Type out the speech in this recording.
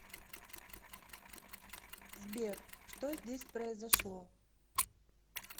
сбер что здесь произошло